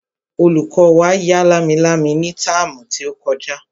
Olùkọ́ wa ya lámilámi ní táàmù tí ó kọjá